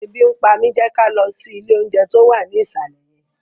Ebi ń pa mi! Jẹ́ ká lọ sí ilé oúnjẹ tó wà ní ìsàlẹ̀ yẹn